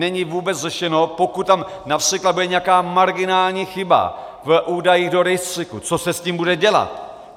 Není vůbec řešeno, pokud tam například bude nějaká marginální chyba v údajích do rejstříku, co se s tím bude dělat.